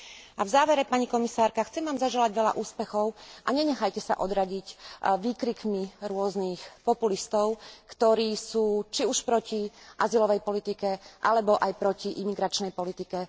A v závere, pani komisárka, chcem Vám zaželať veľa úspechov a nenechajte sa odradiť výkrikmi rôznych populistov, ktorí sú či už proti azylovej politike, alebo aj proti imigračnej politike.